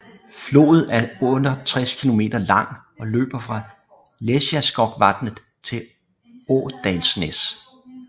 Floden er 68 km lang og løber fra Lesjaskogsvatnet til Åndalsnes